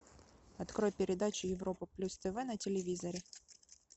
открой передачу европа плюс тв на телевизоре